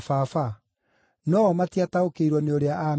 No-o matiataũkĩirwo nĩ ũrĩa aameeraga.